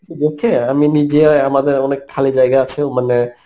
আমি নিজে অ্যাঁ আমাদের অনেক খালি জায়গা আছে মানে